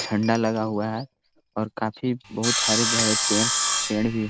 झंडा लगा हुआ है और काफी बहुत हरे-भरे पेड़-पेड़ भी--